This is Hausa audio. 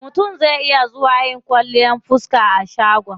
Mutum zai iya zuwa yin kwalliyar fiska a shagon.